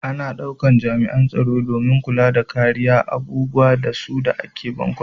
Ana daukan jami'an tsaro domin kulla da kariya abubuwan da su ke a bankuna.